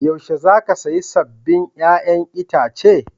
Yaushe za ka saya sabbin 'ya'yan itace?